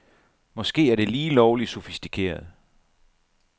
Måske er det lige lovligt sofistikeret.